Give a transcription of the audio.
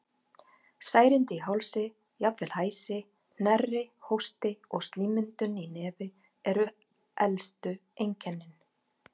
Særindi í hálsi, jafnvel hæsi, hnerri, hósti og slímmyndun í nefi eru elstu einkennin.